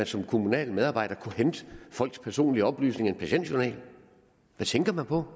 som kommunal medarbejder at kunne hente folks personlige oplysninger i en patientjournal hvad tænker man på